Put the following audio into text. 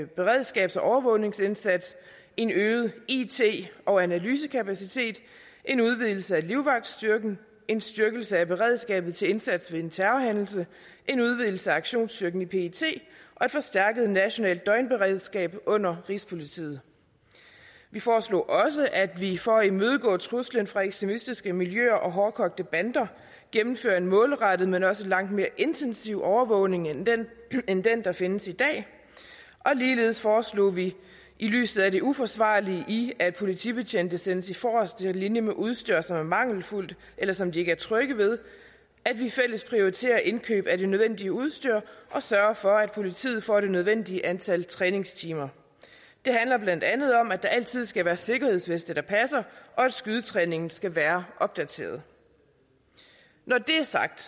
beredskabs og overvågningsindsats en øget it og analysekapacitet en udvidelse af livvagtstyrken en styrkelse af beredskabet til indsats ved en terrorhændelse en udvidelse af aktionsstyrken i pet og et forstærket nationalt døgnberedskab under rigspolitiet vi foreslog også at vi for at imødegå truslen fra ekstremistiske miljøer og hårdkogte bander gennemfører en målrettet men også langt mere intensiv overvågning end den end den der findes i dag og ligeledes foreslog vi i lyset af det uforsvarlige i at politibetjente sættes i forreste linje med udstyr som er mangelfuldt eller som de ikke er trygge ved at vi fælles prioriterer indkøb af det nødvendige udstyr og sørger for at politiet får det nødvendige antal træningstimer det handler blandt andet om at der altid skal være sikkerhedsveste der passer og at skydetræningen skal være opdateret når det er sagt